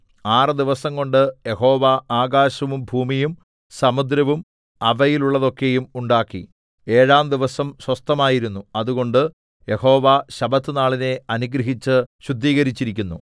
ആറ് ദിവസംകൊണ്ട് യഹോവ ആകാശവും ഭൂമിയും സമുദ്രവും അവയിലുള്ളതൊക്കെയും ഉണ്ടാക്കി ഏഴാം ദിവസം സ്വസ്ഥമായിരുന്നു അതുകൊണ്ട് യഹോവ ശബ്ബത്തുനാളിനെ അനുഗ്രഹിച്ചു ശുദ്ധീകരിച്ചിരിക്കുന്നു